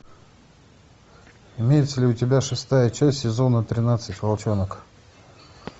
имеется ли у тебя шестая часть сезона тринадцать волчонок